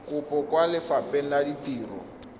kopo kwa lefapheng la ditiro